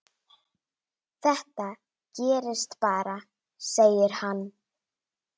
Þetta gerist bara, segir hann.